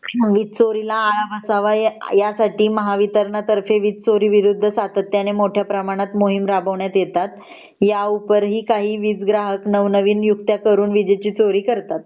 वीज चोरीला आळा बसावा यासाठी महावितरणाने वीज चोरी विरुद्ध सातत्याने मोठ्या प्रमाणात मोहीम राबवण्यात येतात या उपर ही काही वीज ग्राहक नव नवीन यूक्त्या करून वीज चोरी करतात